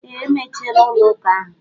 Ee, emechiela ụlọ ụka ahụ.